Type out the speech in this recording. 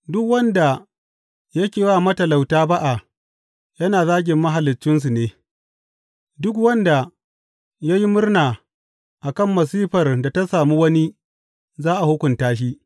Duk wanda yake wa matalauta ba’a yana zagin Mahaliccinsu ne; duk wanda ya yi murna akan masifar da ta sami wani za a hukunta shi.